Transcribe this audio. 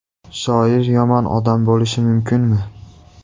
Shoir yomon odam bo‘lishi mumkinmi?!